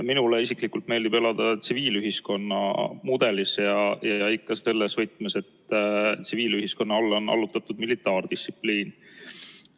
Minule isiklikult meeldib elada tsiviilühiskonna mudelis, ja ikka selles võtmes, et tsiviilühiskonna omale on militaardistsipliin allutatud.